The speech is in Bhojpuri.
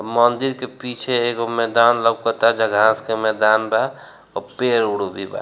मंदिर के पीछे एगो मैदान लउकता जहाँ घास के मैदान बा और पेड़-उड़ भी बा।